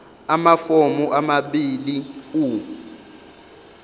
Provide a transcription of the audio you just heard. amafomu amabili u